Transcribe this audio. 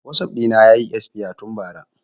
Wasap ɗina yayi esfaya tun ba ra